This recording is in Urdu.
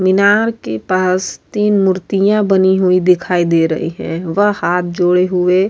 مینار کے پاس تین مورتیا بنی ہوئی دکھائی دے رہی ہے۔ وہ ہاتھ جوڑے ہوئے --